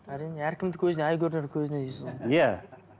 әрине әркімдікі өзіне ай көрінер көзіне дейсіз ғой иә